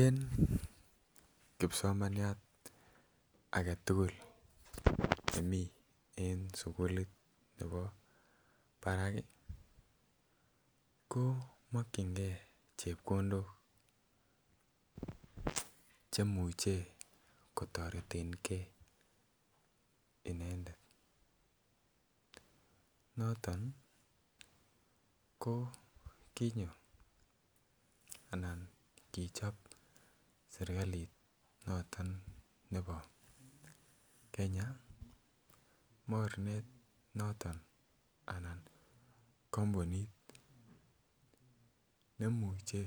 En kipsomaniat agetugul nemii en sukulit nebo barak ii ko mokyingee chepkondok chemuche kotoreten gee inendet noton ko kinyo anan kichob serkalit noton nebo Kenya mornet noton anan kompunit nemuche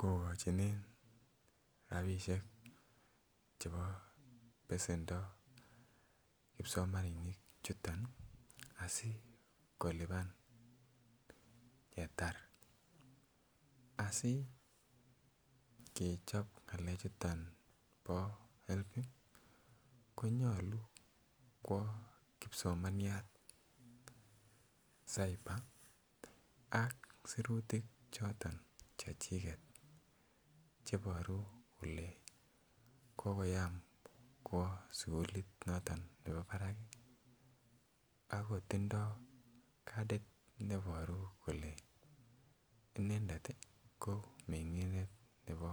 kogochinen rabinishek chebo besendo kipsomaninik chuton asi kolipan ketar. Asi kechob ngalek chuton bo HELB ko nyoluu kwo kipsomaniat cyber ak sirutik choton chechiget cheboru kole kokoyam kwo sukulit noton nebo barak ako tindo cardit neboru kole inendet ko mengindet nebo